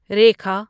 Rekha